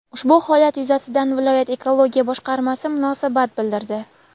Ushbu holat yuzasidan viloyat Ekologiya boshqarmasi munosabat bildirdi.